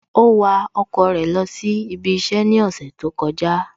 Ó wa ọkọ̀ rẹ̀ lọ sí ibi iṣẹ́ ní ọ̀sẹ̀ tó kọjá